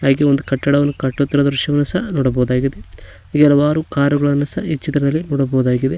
ಇಲ್ಲಿ ಒಂದು ಕಟ್ಟಡವನ್ನು ಕಟ್ಟುತ್ತಿರುವ ದೃಶ್ಯವನು ಸಹ ನೋಡಬಹುದಾಗಿದೆ ಈ ಹಲವಾರು ಕಾರುಗಳನ್ನು ಸಹ ಈ ಚಿತ್ರದಲ್ಲಿ ನೋಡಬಹುದಾಗಿದೆ.